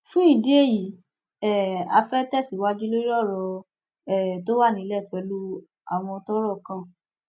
fún ìdí èyí um á fẹẹ tẹsíwájú lórí ọrọ um tó wà nílẹ pẹlú àwọn tọrọ kàn